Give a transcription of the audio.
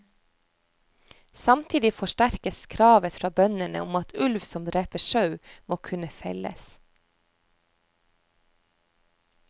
Samtidig forsterkes kravet fra bøndene om at ulv som dreper sau, må kunne felles.